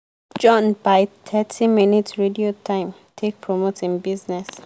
john buy thirty minutes radio time take promote hin business.